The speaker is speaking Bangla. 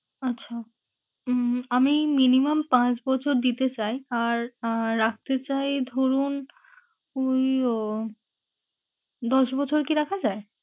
আচ্ছা উম আমি minimum পাঁচ বছর দিতে চাই। আর আহ রাখতে চাই ধরুন উহ দশ বছর কি রাখা যায়?